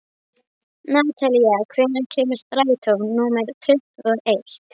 Natalía, hvenær kemur strætó númer tuttugu og eitt?